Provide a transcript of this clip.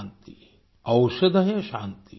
शान्तिरोषधय शान्ति